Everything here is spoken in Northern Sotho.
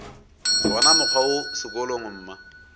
wona mokgwa wo sekolong mma